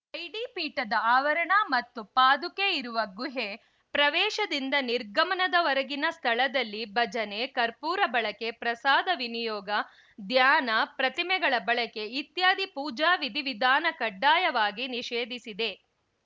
ಐಡಿಪೀಠದ ಆವರಣ ಮತ್ತು ಪಾದುಕೆ ಇರುವ ಗುಹೆ ಪ್ರವೇಶದಿಂದ ನಿರ್ಗಮನದವರೆಗಿನ ಸ್ಥಳದಲ್ಲಿ ಭಜನೆ ಕರ್ಪೂರ ಬಳಕೆ ಪ್ರಸಾದ ನಿಯೋಗ ಧ್ಯಾನ ಪ್ರತಿಮೆಗಳ ಬಳಕೆ ಇತ್ಯಾದಿ ಪೂಜಾ ವಿಧಿವಿಧಾನ ಕಡ್ಡಾಯವಾಗಿ ನಿಷೇಧಿಸಿದೆ